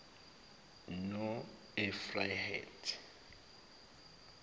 noefrayimi